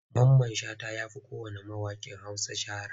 Mamman Shata ya fi kowanne mawaƙin Hausa shahara.